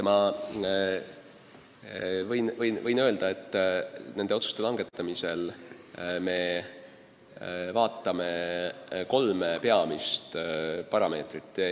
Ma võin öelda, et nende otsuste langetamisel me peame silmas kolme peamist parameetrit.